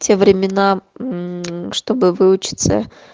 те времена мм чтобы выучиться